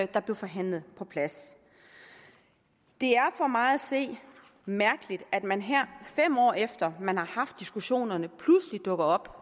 der blev forhandlet på plads det er for mig at se mærkeligt at man her fem år efter man har haft diskussionerne pludselig dukker op